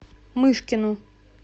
мышкину